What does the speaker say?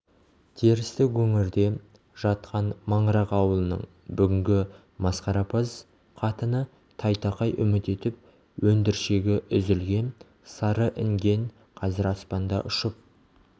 терістік өңірде жатқан маңырақ ауылының бүгінгі масқарапаз қатыны тайтақай үміт етіп өндіршегі үзілген сары інген қазір аспанда ұшып